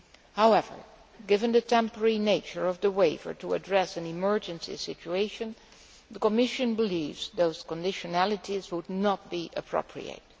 However, given the temporary nature of the waiver to address an emergency situation, the Commission believes those conditionalities would not be appropriate.